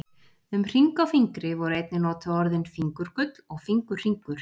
Um hring á fingri voru einnig notuð orðin fingurgull og fingurhringur.